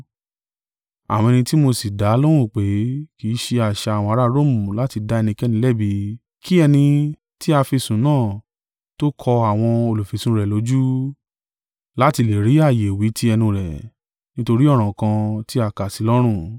“Àwọn ẹni tí mo sì dá lóhùn pé, kì í ṣe àṣà àwọn ará Romu láti dá ẹnikẹ́ni lẹ́bi, kí ẹni tí a fi sùn náà tó ko àwọn olùfisùn rẹ̀ lójú, láti lè ri ààyè wí tí ẹnu rẹ̀, nítorí ọ̀ràn tí a kà sí i lọ́rùn.